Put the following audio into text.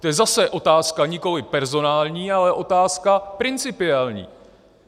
To je zase otázka nikoliv personální, ale otázka principiální.